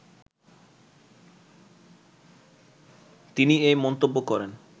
তিনি এ মন্তব্য করেন